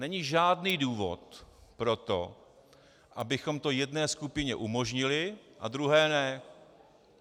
Není žádný důvod pro to, abychom to jedné skupině umožnili a druhé ne.